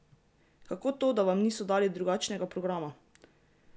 Kako to, da vam niso dali drugačnega programa?